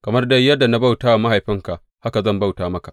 Kamar dai yadda na bauta wa mahaifinka, haka zan bauta maka.